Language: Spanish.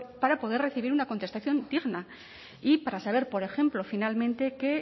para poder recibir una contestación digna y para saber por ejemplo finalmente que